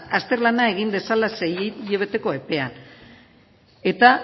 azterlana egin dezala hilabeteko epea eta